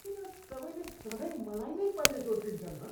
किन सबैले सधैँ मलाई नै पहिले दोष दिन्छन् हँ?